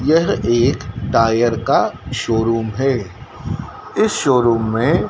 यह एक टायर का शोरूम है इस शोरूम में--